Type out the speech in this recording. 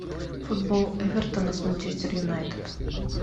футбол эвертона с манчестер юнайтед